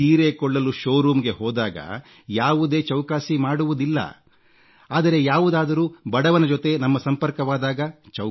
ಸೀರೆ ಕೊಳ್ಳಲು ಶೋರೂಮ್ಗೆ ಹೋದಾಗ ಯಾವುದೇ ಚೌಕಾಸಿ ಮಾಡುವುದಿಲ್ಲ ಆದರೆ ಯಾವುದಾದರೂ ಬಡವನ ಜೊತೆ ನಮ್ಮ ಸಂಪರ್ಕವಾದಾಗ